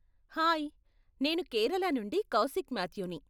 Hi, నేను కేరళ నుండి కౌశిక్ మాథ్యూని.